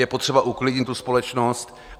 Je potřeba uklidnit tu společnost.